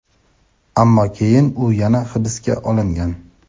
ammo keyin u yana hibsga olingan.